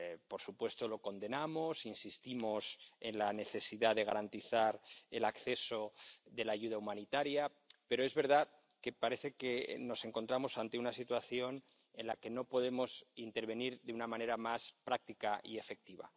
Por supuesto, lo condenamos e insistimos en la necesidad de garantizar el acceso de la ayuda humanitaria, pero es verdad que parece que nos encontramos ante una situación en la que no podemos intervenir de una manera más práctica y efectiva.